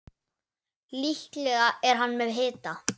Líklega er hann með hita.